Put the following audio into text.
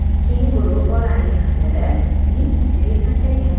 Kenguru bolani yiqitib, uning ustiga sakragan.